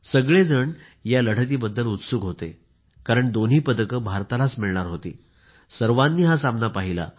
सगळे या लढतीबद्दल उत्सुक होते दोन्ही पदकं भारतालाच मिळणार होती सर्वांनी हा सामना पाहिला